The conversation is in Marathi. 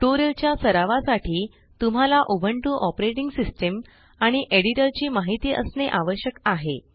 ट्युटोरियलच्या सरावासाठी तुम्हाला उबुंटू ओएस आणि एडिटर ची माहिती असणे आवश्यक आहे